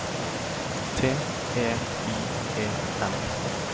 T E I E N